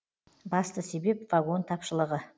басты себеп вагон тапшылығы